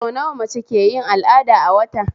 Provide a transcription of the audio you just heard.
Sau nawa mace ke yin al'ada a wata?